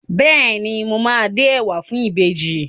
Bẹ́ẹ̀ni, mo ma day ẹwà fún ìbejì